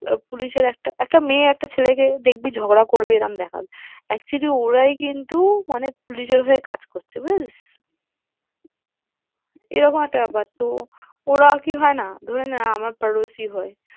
আহ পুলিশের একটা মেয়ে দেখবি একটা ছেলেকে ঝগড়া করবে এরম দেখাবে actually ওরাই কিন্তু মানে পুলিশের হয়ে কাজ করছে বুঝেছিস? আচ্ছা আচ্ছা, এরকম একটা ব্যাপার তো ওরা কি হয় না, ধরে নে আমার হয়ে।